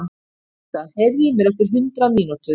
Sigurmunda, heyrðu í mér eftir hundrað mínútur.